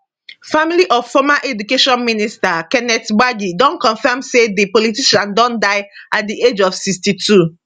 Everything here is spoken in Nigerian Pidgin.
family of former education minister kenneth gbagi don comfam say di politician don die at di age of 62